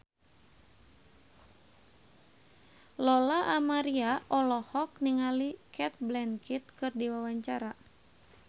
Lola Amaria olohok ningali Cate Blanchett keur diwawancara